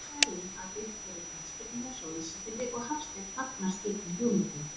Umræða er um að byggt verði knattspyrnuhús á Ísafirði og Hafsteinn fagnar slíkum hugmyndum.